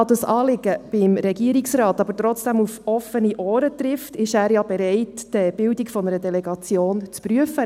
Da das Anliegen beim Regierungsrat aber trotzdem auf offene Ohren stösst, ist er ja bereit, die Bildung einer Delegation zu prüfen;